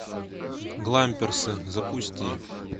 гламперсы запусти